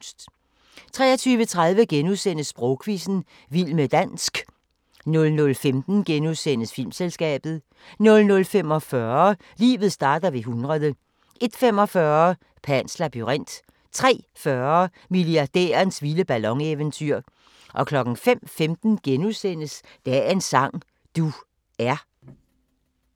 23:30: Sprogquizzen - vild med dansk * 00:15: Filmselskabet * 00:45: Livet starter ved 100 01:45: Pans labyrint 03:40: Milliardærens vilde ballon-eventyr 05:15: Dagens sang: Du er *